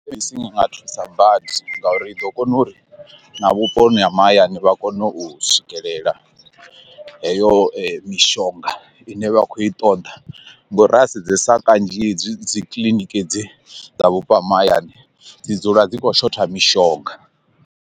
Theḽemedisini i nga thusa badi ngauri i ḓo kona uri na vhuponi ha mahayani vha kone u swikelela heyo mishonga ine vha khou i ṱoḓa ngauri ra sedzesa kanzhi dzi kiḽiniki hedzi dza vhupo ha mahayani dzi dzula dzi khou shotha mishonga.